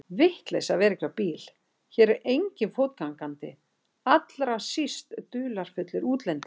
Vitleysa að vera ekki á bíl, hér er enginn fótgangandi, allra síst dularfullir útlendingar.